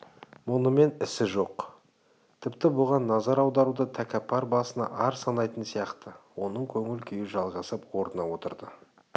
мұнымен ісі жоқ тіпті бұған назар аударуды тәкаппар басына ар санайтын сияқты оның көңілі жайғасып орнына отырды